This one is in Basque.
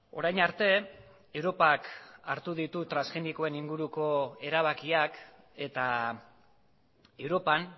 orain arte europak hartu ditu transgenikoen inguruko erabakiak eta europan